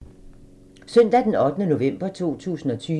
Søndag d. 8. november 2020